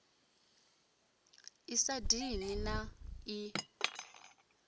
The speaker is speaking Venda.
i sa dini na i